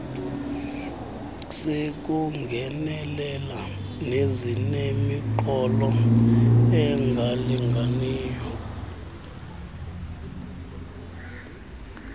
sekungenelela nezinemiqolo engalinganiyo